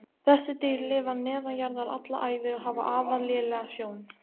Þessi dýr lifa neðanjarðar alla ævi og hafa afar lélega sjón.